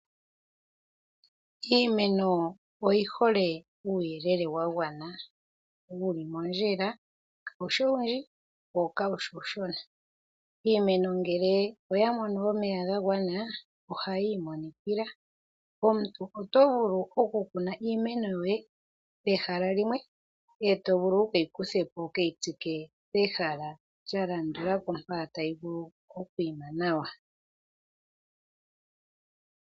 Iimeno oyi hole uuyelele wa gwana, kaa wushi uushona wo ka wushi owundji. Uuna ya tekelwa omeya ga gwana nena ohayi imonikila. Omuntu oto vulu oku kuna iimeno yoye pehala limwe eto yi kuthapo wuke yi tsike pehala lilwe mpa tayi vulu oku koka nokwiima nawa.